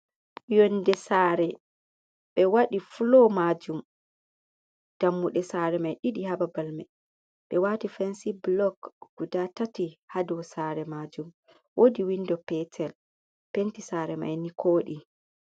Yonde saare, ɓe waɗi fuloo maajum, dammuɗe saare mai ɗiɗi ha babal mai, ɓe waati fensy-bulok gudaa tati ha dow saare maajum, woodi windo peetel, penti saare mai ni kooɗi.